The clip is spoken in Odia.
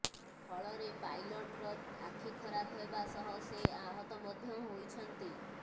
ଫଳରେ ପାଇଲଟର ଆଖି ଖରାପ ହେବା ସହ ସେ ଆହତ ମଧ୍ୟ ହୋଇଛନ୍ତି